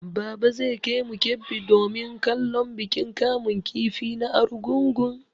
Baba zai kaimu Kebbi domin kallon bikin kamun kifi na Argungun.